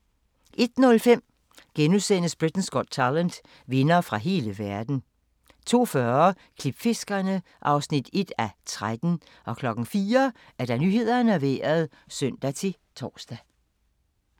01:05: Britain’s Got Talent - vindere fra hele verden * 02:40: Klipfiskerne (1:13) 04:00: Nyhederne og Vejret (søn-tor)